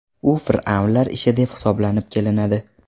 U fir’avnlar ishi deb hisoblab kelinadi.